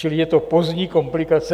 Čili je to pozdní komplikace.